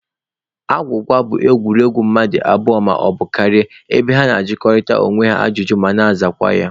Agwụgwa bụ egwuregwu mmadụ abụọ maọbụ karịa ebe ha na-ajụkọrịta onwe ha ajụjụ ma na-azakwa ya